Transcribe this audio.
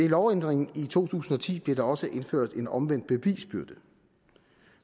lovændringen i to tusind og ti blev der også indført en omvendt bevisbyrde